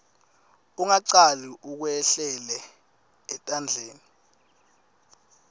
ungacali ukwehlelele etandleni